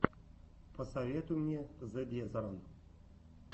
посоветуй мне зэ дезерон